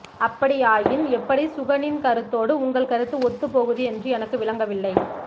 அப்படியாயின் எப்படி சுகனின் கருத்தோடு உங்கள் கருத்து ஒத்துப் போகுது என்று எனக்கு விளங்கவில்லை